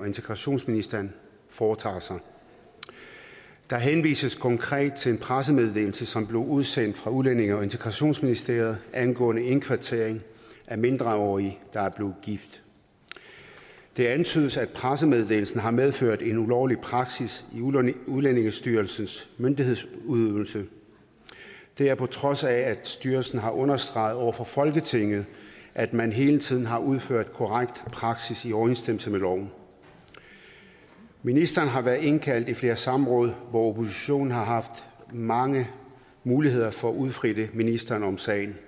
og integrationsministeren foretager sig der henvises konkret til en pressemeddelelse som blev udsendt fra udlændinge og integrationsministeriet angående indkvartering af mindreårige der er gift det antydes at pressemeddelelsen har medført en ulovlig praksis i udlændingestyrelsens myndighedsudøvelse det er på trods af at styrelsen har understreget over for folketinget at man hele tiden har udført korrekt praksis i overensstemmelse med loven ministeren har været indkaldt i flere samråd hvor oppositionen har haft mange muligheder for at udfritte ministeren om sagen